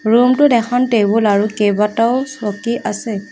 Room টোত এখন table আৰু কেইবাটাও চকী আছে।